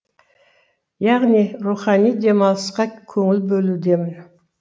яғни рухани демалысқа көңіл бөлудемін